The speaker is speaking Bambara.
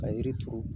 Ka yiri turu